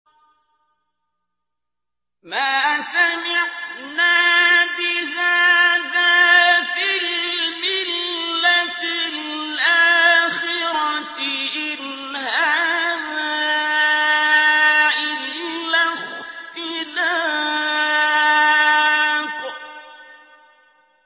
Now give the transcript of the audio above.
مَا سَمِعْنَا بِهَٰذَا فِي الْمِلَّةِ الْآخِرَةِ إِنْ هَٰذَا إِلَّا اخْتِلَاقٌ